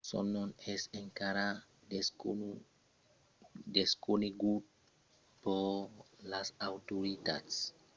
son nom es encara desconegut per las autoritats e mai se sabon qu'es un membre del grop etnic oigor